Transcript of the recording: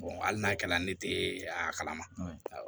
hali n'a kɛra ne tɛ a kala ma